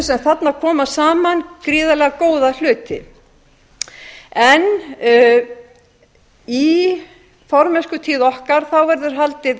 sem þarna koma saman gríðarlega góða hluti í formennskutíð okkar verður haldið